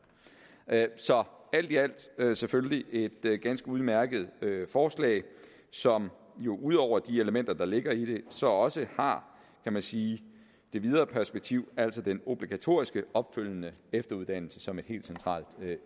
så alt i alt er det selvfølgelig et ganske udmærket forslag som jo ud over de elementer der ligger i det så også har kan man sige det videre perspektiv altså den obligatoriske opfølgende efteruddannelse som et helt centralt